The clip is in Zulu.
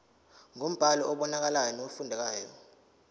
ngombhalo obonakalayo nofundekayo